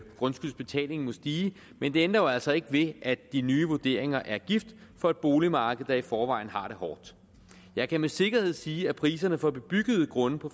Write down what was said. grundskyldsbetalingen må stige men det ændrer jo altså ikke ved at de nye vurderinger er gift for et boligmarked der i forvejen har det hårdt jeg kan med sikkerhed sige at priserne på bebyggede grunde på